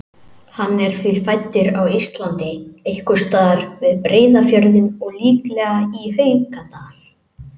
Hann er því fæddur á Íslandi, einhvers staðar við Breiðafjörðinn og líklega í Haukadal.